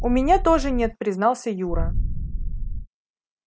у меня тоже нет признался юра